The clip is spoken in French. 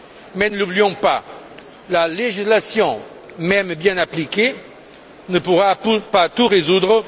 Mais ne l'oublions pas, la législation même bien appliquée ne pourra pas tout résoudre.